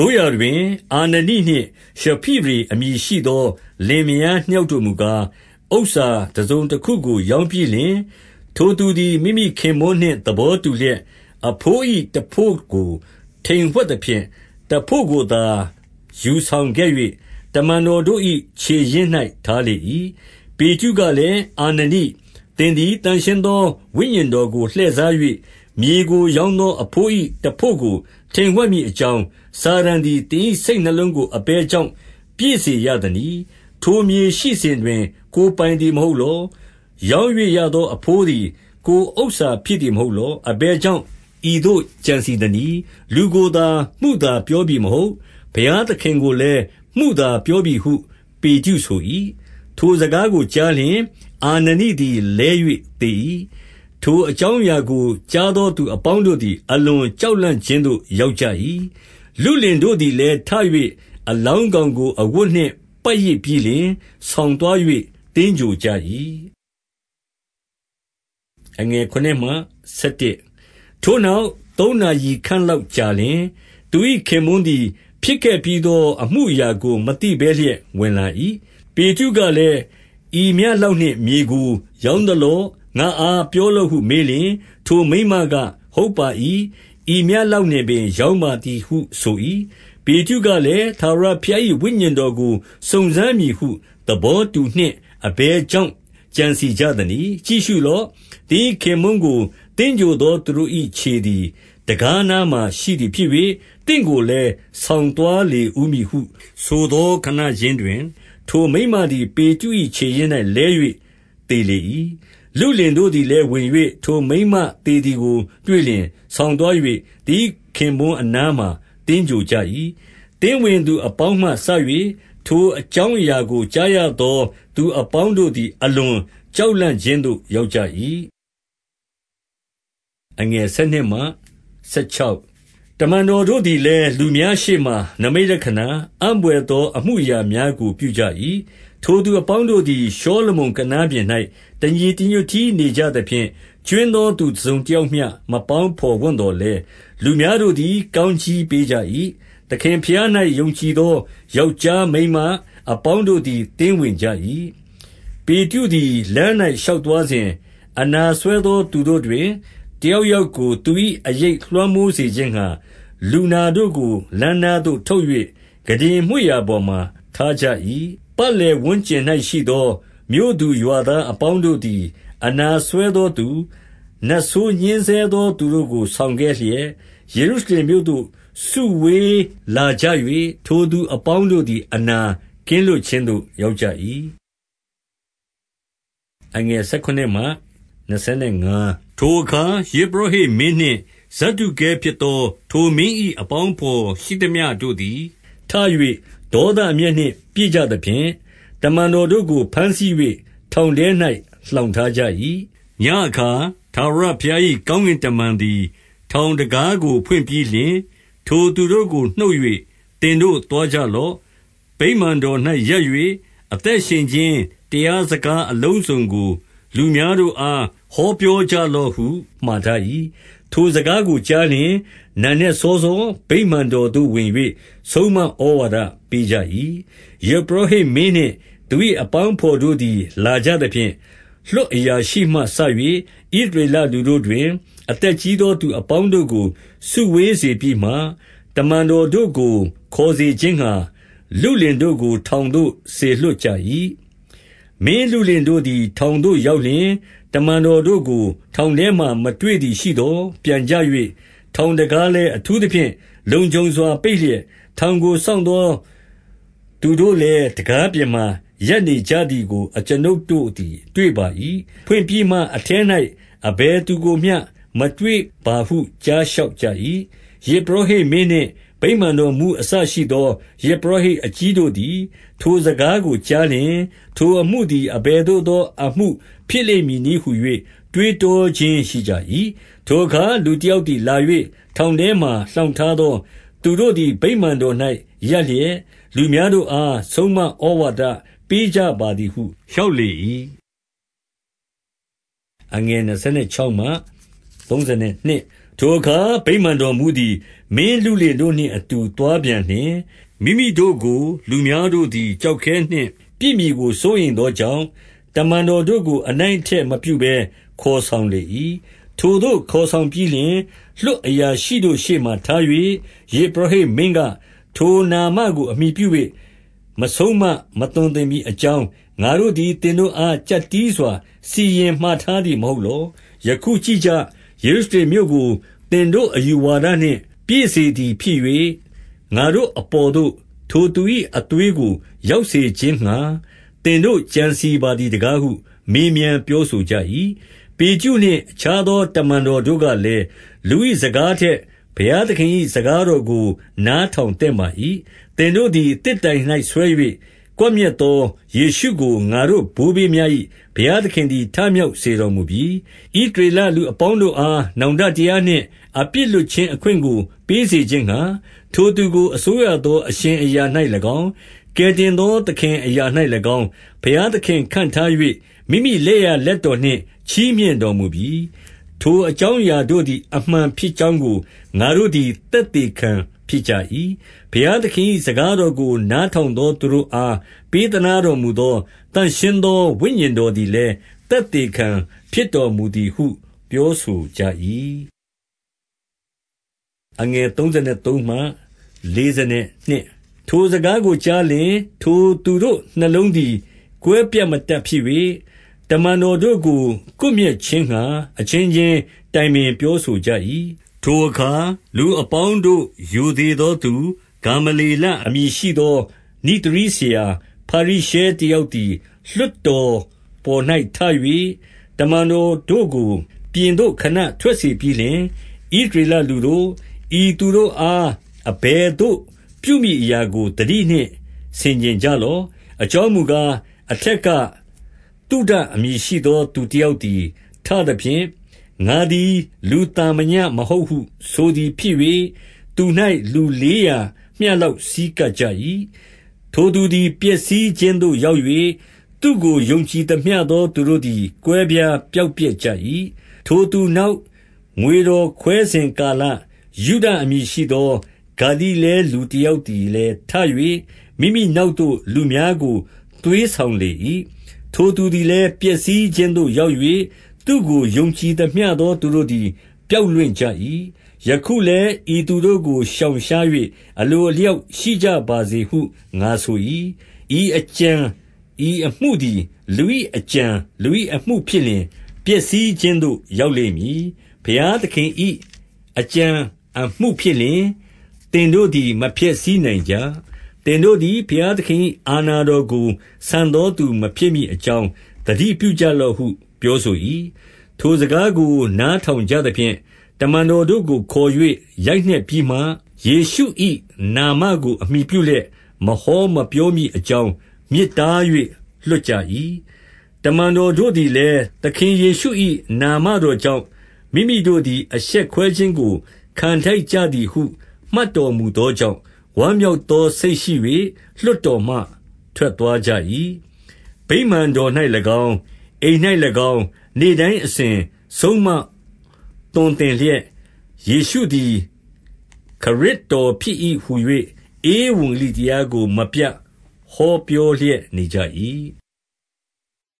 ို့ရာတွင် အာနနိနှင့်ရှိဖိရေ အမည်ရှိသော လင်မယား နှစ်ယောက်တို့မူကား၊ ဥစ္စာတစုံတခုကို ရောင်း ပြီးလျှင်၊ 2 ထိုသူသည် မိမိခင်ပွန်းနှင့်သဘောတူလျက်၊ အဘိုးတဘို့ကို ထိမ်ဝှက်သဖြင့်၊ တဘို့ကိုသာယူဆောင်ခဲ့၍ တမန်တော်တို့၏ ခြေရင်း၌ ထားလေ၏။ 3 ပေတရုကလည်း၊ အာနနိ၊ သင်သည်သန့်ရှင်း သော ဝိညာဉ် တော်ကို လှည့်စား၍၊ မြေကိုရောင်းသော အဘိုး၏တဘို့ကိုထိမ်ဝှက်မည် အကြောင်း၊ စာတန်သည် သင်၏စိတ်နှလုံးကို အဘယ်ကြောင့် ပြည့်စေ ရသနည်း။ 4 ထိုမြေရှိစဉ်တွင် ကိုယ်ပိုင်သည် မဟုတ်လော။ ရောင်း၍ရသော အဘိုးသည် ကိုယ်ဥစ္စာဖြစ်သည် မဟုတ်လော။ အဘယ်ကြောင့် ဤသို့ကြံ စည်သနည်း။ လူကိုသာ မုသာပြောပြီမဟုတ်၊ ဘုရားသခင်ကိုလည်း မုသာပြောပြီဟု ပေတရုဆို၏။ 5 ထိုစကားကိုကြားလျှင်၊ အာနနိသည်လဲ၍ သေ၏။ ထိုအကြောင်းအရာကို ကြားသောသူအပေါင်း တို့သည် အလွန်ကြောက်လန့်ခြင်း သို့ရောက်ကြ၏။ 6 လုလင်တို့သည်လည်းထ၍ အလောင်းကောင် ကို အဝတ်နှင့် ပတ်ရစ်ပြီးလျှင် ဆောင်သွား၍ သင်္ဂြိုဟ်ကြ၏။ 7 ထိုနောက်သုံးနာရီခန့်လောက်ကြာလျှင်၊ သူ၏ ခင်ပွန်းသည် ဖြစ်ခဲ့ပြီးသော အမှုအရာကို မသိဘဲလျက် ဝင်လာ၏။ 8 ပေတရုကလည်း၊ ဤမျှလောက်နှင့်မြေကိုရောင်းသလော၊ ငါ့အားပြောလောဟုမေးလျှင်၊ ထိုမိန်းမက၊ ဟုတ်ပါ၏။ ဤမျှလောက်နှင့်ပင် ရောင်းပါသည်ဟုဆို၏။ 9 ပေတရုကလည်း၊ ထာဝရဘုရား၏ ဝိညာဉ် တော်ကို စုံစမ်းမည်ဟု သဘောတူနှင့် အဘယ်ကြောင့် ကြံစည်ကြသနည်း။ ကြည့်ရှုလော့။ သင်၏ ခင်ပွန်းကို သင်္ဂြိုဟ်သော သူတို့၏ခြေသည်တံခါးနားမှာ ရှိသည် ဖြစ်၍၊ သင့်ကိုလည်းဆောင်သွားလေဦးမည်ဟု ဆိုသော ခဏခြင်းတွင်၊ 10 ထိုမိန်းမသည် ပေတရု၏ ခြေရင်း၌ လဲ၍ သေလေ၏။ လုလင်တို့ သည်လည်းဝင်၍ ထိုမိန်းမသေ သည်ကိုတွေ့လျှင်၊ ဆောင်သွား၍သူ၏ ခင်ပွန်းအနားမှာ သင်္ဂြိုဟ်ကြ၏။ 11 သင်းဝင်သူအပေါင်းမှစ၍ ထိုအကြောင်းအရာ ကို ကြားရသော သူအပေါင်းတို့သည် အလွန်ကြောက် လန့်ခြင်းသို့ ရောက်ကြ၏။ 12 တမန်တော်တို့သည်လည်း လူများရှေ့မှာ နိမိတ် လက္ခဏာ၊ အံ့ဘွယ်သော အမှုအရာများကိုပြုကြ၏။ ထိုသူအပေါင်းတို့သည် ရှေလမုန်ကနားပြင်၌ တညီ တညွတ်တည်း နေကြသဖြင့်၊ 13 ကြွင်းသော သူတစုံတယောက်မျှ မပေါင်းဘော် ဝံ့သော်လည်း၊ လူများတို့သည် ကောင်းကြီးပေးကြ၏။ 14 သခင်ဘုရား၌ယုံကြည်သော ယောက်ျား၊ မိန်းမ၊ အပေါင်းတို့သည် သင်းဝင်ကြ၏။ 15 ပေတရုသည် လမ်း၌ရှောက်သွားစဉ်၊ အနာစွဲ သောသူတို့တွင် တယောက်ယောက်ကို သူ၏အရိပ် လွှမ်းမိုးစေခြင်းငှါ၊ လူနာတို့ကိုလမ်းနား သို့ထုတ်၍ ခုတင်မွေ့ရာပေါ်မှာထားကြ၏။ 16 ပတ်လည်ဝန်းကျင်၌ရှိသော မြို့သူရွာသား အပေါင်းတို့သည် အနာစွဲသောသူ၊ နတ်ဆိုးညှဉ်းဆဲသော သူတို့ကို ဆောင်ခဲ့လျက်၊ ယေရုရှ လင်မြို့သို့ စုဝေးလာကြ၍၊ ထိုလူနာအပေါင်းတို့သည် အနာကင်း လွတ်ခြင်းသို့ရောက်ကြ၏။ 17 ထိုအခါ ယဇ်ပုရောဟိတ်မင်းနှင့် ဇဒ္ဒုကဲဖြစ် သော ထိုမင်း၏ အပေါင်းအဘော်ရှိသမျှတို့သည် ထ၍ ဒေါသအမျက်နှင့် ပြည့်ကြသဖြင့်၊ 18 တမန်တော်တို့ကိုဘမ်းဆီး၍ ထောင်ထဲ၌ လှောင်ထားကြ၏။ 19 ညဉ့်အခါထာဝရဘုရား၏ ကောင်းကင်တမန် သည် ထောင်တံခါးကိုဖွင့်ပြီးလျှင်၊ ထိုသူတို့ကိုနှုတ်ဆက်၍၊ သင်တို့သွားကြလော့။ 20 ဗိမာန်တော်၌ ရပ်၍ အသက်ရှင်ခြင်း တရား စကားအလုံးစုံကို လူများတို့အား ဟောပြောကြလော့ဟု မှာထား၏။ ထိုစကားကိုကြားလျှင်၊ နံနက်စောစော ဗိမာန်တော်သို့ဝင်၍ ဆုံးမဩဝါဒပေးကြ၏။ 21 ယဇ်ပုရောဟိတ်မင်းနှင့်သူ၏ အပေါင်းအဘော် တို့သည် လာကြသဖြင့်၊ လွှတ်အရာရှိမှစ၍ ဣသရေလူ တို့တွင် အသက်ကြီးသော သူအပေါင်းတို့ကို စုဝေးစေပြီး မှ၊ တမန်တော်တို့ကိုခေါ်စေခြင်းငှါ လုလင် တို့ကို ထောင်သို့ စေလွှတ်ကြ၏။ 22 မင်းလုလင်တို့သည် ထောင်သို့ရောက်လျှင်၊ တမန်တော်တို့ကို ထောင်ထဲမှာ မတွေ့သည်ရှိသော် ပြန် ကြ၍၊ 23 ထောင်တံခါးလည်းအထူးသဖြင့် လုံခြုံစွာ ပိတ် လျက်၊ ထောင်ကို စောင့်သော သူတို့လည်း တံခါးပြင်မှာ ရပ်လျက်ရှိကြသည်ကို အကျွန်ုပ်တို့ သည်တွေ့ပါ၏။ ဖွင့်ပြီးမှအထဲ၌အဘယ်သူကိုမျှမတွေ့ပါဟု ကြားလျှောက် ကြ၏။ 24 ယဇ်ပုရောဟိတ်မင်းနှင့် ဗိမာန်တော်မှူးအစ ရှိသော ယဇ်ပုရော ဟိတ်အကြီးတို့သည် ထိုစကားကို ကြားလျှင်၊ ထိုအမှုသည် အဘယ်သို့ သောအမှုဖြစ်လိမ့် မည်နည်းဟူ၍ တွေးတောခြင်းရှိကြ၏။ 25 ထိုအခါလူတယောက်သည်လာ၍ ထောင်ထဲမှာ လှောင်ထား သောသူတို့သည် ဗိမာန်တော်၌ရပ်လျက်၊ လူများတို့အား ဆုံးမဩဝါဒ ပေးကြပါသည်ဟု လျှောက် လေ၏။ 26 ထိုအခါ ဗိမာန်တော်မှူးသည် မင်းလုလင်တို့နှင့် အတူ သွားပြန်လျှင်၊ မိမိတို့ကို လူများတို့သည် ကျောက်ခဲ နှင့်ပစ်မည်ကိုစိုးရိမ်သော ကြောင့်၊ တမန်တော်တို့ကို အနိုင်အထက်မပြုဘဲ ခေါ်ဆောင်လေ၏။ 27 ထိုသို့ခေါ်ဆောင်ပြီးလျှင်၊ လွှတ်အရာရှိတို့ ရှေ့မှာထား၍ ယဇ်ပုရောဟိတ်မင်းက၊ 28 ထိုနာမကို အမှီပြု၍မဆုံးမ မသွန်သင်မည် အကြောင်း ငါတို့သည်သင်တို့အား၊ ကျပ်တည်းစွာ စီရင် မှာထားသည်မဟုတ်လော။ ယခု ကြည့်ကြ။ ယေရုရှလင် မြို့ကို သင်တို့အယူဝါဒနှင့် ပြည့် စသည်ဖြစ်၍၊ ငါတို့ အပေါ်သို့ ထိုသူ၏အသွေးကိုရောက်စေခြင်းငှါ သင်တို့ ကြံစည် ပါသည် တကားဟုမေးမြန်းပြောဆိုကြ၏။ 29 ပေတရုနှင့် အခြားသော တမန်တော်တို့ကလည်း၊ လူ၏စကားထက်ဘုရားသခင်၏ စကားကို နားထောင်သင့်ပါ၏။ 30 သင်တို့သည် သစ်တိုင်၌ဆွဲ၍ ကွပ်မျက်သော ယေရှုကို ငါတို့ ဘိုးဘေးများ၏ ဘုရားသခင်သည် ထမြောက်စေတော်မူပြီ။ 31 ဣသရေလ လူတို့အား နောင်တတရားနှင့် အပြစ်လွှတ်ခြင်း အခွင့်ကိုပေးစေခြင်းငှါ၊ ထိုသူကို အစိုးရသော အရှင်အရာ၌၎င်း၊ ကယ်တင်သော သခင် အရာ၌၎င်း၊ ဘုရားသခင်ခန့်ထား၍ မိမိလက်ျာ လက်တော်နှင့် ချီးမြှင့်တော်မူပြီ။ 32 ထိုအကြောင်းအရာတို့သည် အမှန်ဖြစ်ကြောင်း ကို ငါတို့သည် သက်သေခံဖြစ်ကြ၏။ ဘုရားသခင်၏ စကားတော်ကို နားထောင်သော သူတို့အား ပေးသနား တော်မူသော သန့်ရှင်းသော ဝိညာဉ်တော်သည်လည်း သက်သေခံဖြစ်တော်မူသည်ဟု ပြောဆိုကြ၏။ 33 ထိုစကားကိုကြားလျှင်၊ ထိုသူတို့နှလုံးသည် ကွဲပြတ်မတတ်ဖြစ် ၍၊ တမန်တော်တို့ကို ကွပ်မျက်ခြင်းငှါ အချင်းချင်းတိုင်ပင်ပြောဆိုကြ၏။ 34 ထိုအခါလူအပေါင်းတို့ရိုသေသောသူ၊ ဂါမလျေလအမည် ရှိသောနိဿရည်းဆရာ၊ ဖာရိရှဲ တယောက်သည် လွှတ်တော်ပေါ်၌ထ၍၊ တမန်တော်တို့ကို ပြင်သို့ခဏထွက်စေပြီးလျှင်၊ 35 ဣသရေလ လူတို့၊ ဤသူတို့အား အဘယ်သို့ပြုမည်အရာကို သတိနှင့်ဆင်ခြင်ကြလော့။ 36 အကြောင်းမူကား၊ အထက်က သုဒအမည် ရှိသောသူတယောက် သည်ထသဖြင့်၊ ငါသည်လူ သာမည မဟုတ်ဟု ဆိုသည်ဖြစ်၍၊ သူ၌ လူလေးရာမျှ လောက်ဆည်းကပ်ကြ၏။ ထိုသူသည် ပျက်စီးခြင်းသို့ ရောက်၍ သူ့ကိုယုံကြည်သမျှသော သူတို့သည် ကွဲပြား ပျောက်ပျက်ကြ၏။ 37 ထိုသူနောက်ငွေတော်ခွဲစဉ်ကာလ၊ ယုဒအမည် ရှိသော ဂါလိလဲ လူတယောက်သည်လည်းထ၍၊ မိမိ နောက်သို့လူများကိုသွေးဆောင်လေ၏။ ထိုသူသည်လည်း ပျက်စီးခြင်းသို့ရောက်၍၊ သူ့ကိုယုံကြည်သမျှ သောသူ တို့သည် ပျောက်လွင့်ကြ၏။ 38 ယခုလည်းဤသူတို့ကို ရှောင်ရှား၍ အလို အလျောက်ရှိကြ ပါစေဟု ငါဆို၏။ ဤအကြံဤအမှုသည် လူ၏အကြံလူ၏အမှုဖြစ်လျှင် ပျက်စီးခြင်းသို့ ရောက်လိမ့်မည်။ 39 ဘုရားသခင်၏အကြံအမှုဖြစ်လျှင် သင်တို့သည် မဖျက်ဆီးနိုင်ကြ။ သင်တို့သည် ဘုရားသခင်၏ အာဏာတော်ကို ဆန်သောသူမဖြစ် မည်အကြောင်း သတိပြုကြ လော့ဟု ပြောဆို၏။ 40 ထိုစကားကို နားထောင်ကြသဖြင့်၊ တမန်တော် တို့ကိုခေါ်၍ ရိုက်နှက်ပြီးမှ၊ ယေရှု၏နာမကို အမှီပြုလျက် မဟောမပြောမည်အကြောင်း တားမြစ်ထား၍ လွှတ်ကြ ၏။ 41 တမန်တော်တို့သည်လည်း၊ သခင်ယေရှု၏ နာမတော်ကြောင့် မိမိတို့သည် အရှက်ကွဲခြင်းကို ခံထိုက် ကြသည်ဟု မှတ်တော်မူသော ကြောင့်ဝမ်းမြောက်သော စိတ်ရှိ၍ လွှတ်တော်မှထွက်သွားကြ၏။ 42 ဗိမာန်တော်၌၎င်း၊ အိမ်၌၎င်း နေ့တိုင်းအစဉ် ဆုံးမသွန်သင် လျက်၊ ယေရှုသည်ခရစ်တော်ဖြစ်၏ဟူ၍ ဧဝံဂေလိတရားကို မပြတ်ဟော ပြောလျက်နေကြ၏။